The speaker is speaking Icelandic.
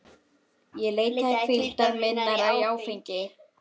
Ég leitaði hvíldar minnar í áfengi.